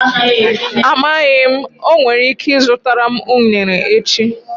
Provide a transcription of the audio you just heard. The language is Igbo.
Amaghị m, o nwere ike ịzụtara m unere echi.